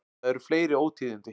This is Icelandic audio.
Það eru fleiri ótíðindi.